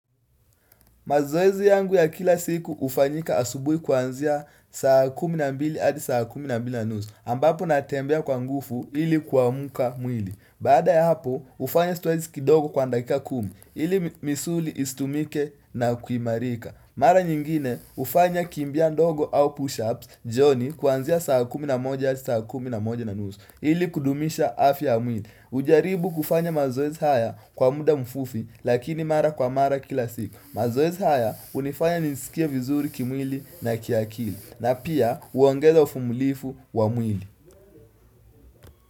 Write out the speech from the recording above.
Mazoezi yangu ya kila siku hufanyika asubuhi kuanzia saa kumi na mbili adi saa kumi na mbili na nusu. Ambapo natembea kwa nguvu ili kuamka mwili. Baada ya hapo hufanya zoezi kidogo kwa dakika kumi ili misuli isitumike na kuimarika. Mara nyingine hufanya kimbia ndogo au push-ups jioni kuanzia saa kumi na moja adi saa kumi na moja na nusu ili kudumisha afya ya mwili. Hujaribu kufanya mazoezi haya kwa muda mfufi lakini mara kwa mara kila siku. Mazoezi haya hunifanya nisikie vizuri kimwili na kiakili na pia uongeza uvumilifu wa mwili.